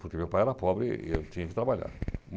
Porque meu pai era pobre e e eu tinha que trabalhar.